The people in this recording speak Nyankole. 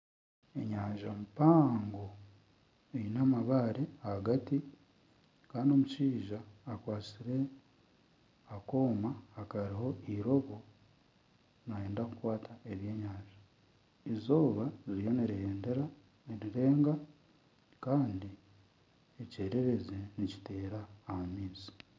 Enyanja mpango eine amabaare ahagati kandi omushaija akwatsire akooma akariho eiroobo nayenda kukwata ebyenyanja izooba ririyo nirirega kandi ekyererezi nikiteera aha maizi.